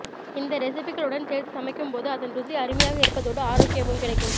இந்த ரெசிபிகளுடன் சேர்த்து சமைக்கும்போது அதன் ருசி அருமையாக இருப்பதோடு அரோக்கியமும் கிடைக்கும்